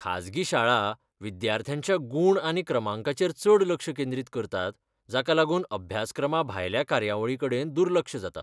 खाजगी शाळा विद्यार्थ्यांच्या गूण आनी क्रमांकाचेर चड लक्ष केंद्रीत करतात जाका लागून अभ्यासक्रमाभायल्या कार्यावळीं कडेन दुर्लक्ष जाता.